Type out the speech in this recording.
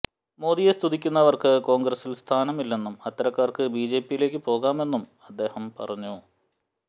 മോദിയെ സ്തുതിക്കുന്നവർക്ക് കോൺഗ്രസിൽ സ്ഥാനമില്ലെന്നും അത്തരക്കാർക്ക് ബിജെപിയിലേക്ക് പോകാമെന്നും അദ്ദേഹം പറഞ്ഞു